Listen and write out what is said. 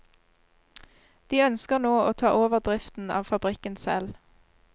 De ønsker nå å ta over driften av fabrikken selv.